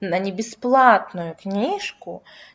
да не бесплатную книжку